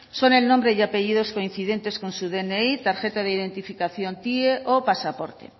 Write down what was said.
son el nombre y apellidos coincidentes con su dni tarjeta de identificación tie o pasaporte